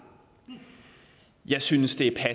jeg synes det